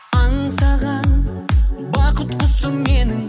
аңсаған бақыт құсым менің